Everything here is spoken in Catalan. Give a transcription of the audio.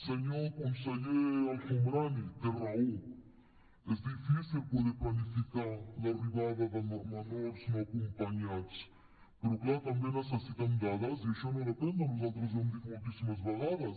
senyor conseller el homrani té raó és difícil poder planificar l’arribada de menors no acompanyats però clar també necessitem dades i això no depèn de nosaltres i ho hem dit moltíssimes vegades